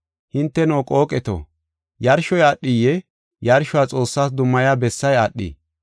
Hinteno, qooqeto, yarshoy aadhiyee? Yarshuwa Xoossas dummaya bessay aadhii?